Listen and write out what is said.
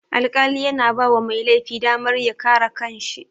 Alƙali yana bawa mai laifi damar ya kare kanshi